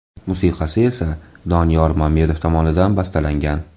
Musiqasi esa Doniyor Mamedov tomonidan bastalangan.